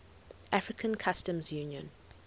african customs union